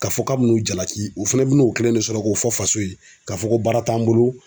K'a fɔ k'a bi n'o jalati o fana bin'o kelen de sɔrɔ k'o fɔ faso ye k'a fɔ ko baara t'an bolo